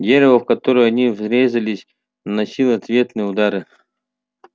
дерево в которое они врезались наносило ответные удары